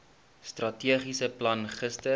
strategiese plan gister